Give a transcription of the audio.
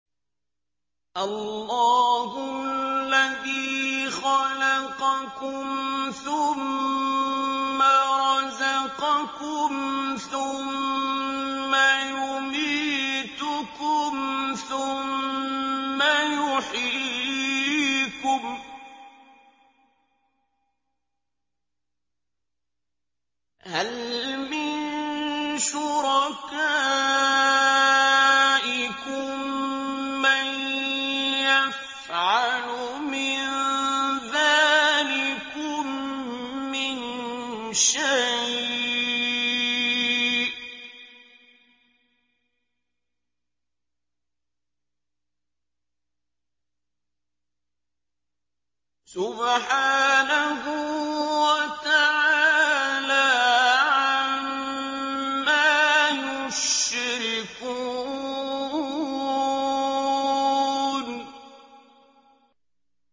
اللَّهُ الَّذِي خَلَقَكُمْ ثُمَّ رَزَقَكُمْ ثُمَّ يُمِيتُكُمْ ثُمَّ يُحْيِيكُمْ ۖ هَلْ مِن شُرَكَائِكُم مَّن يَفْعَلُ مِن ذَٰلِكُم مِّن شَيْءٍ ۚ سُبْحَانَهُ وَتَعَالَىٰ عَمَّا يُشْرِكُونَ